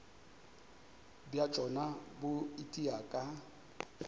bja tšona bo itia ka